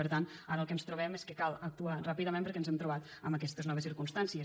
per tant ara el que ens trobem és que cal actuar ràpidament perquè ens hem trobat amb aquestes noves circumstàncies